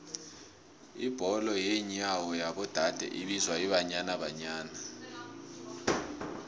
ibholo yenyawo yabo dade ibizwa ibanyana banyana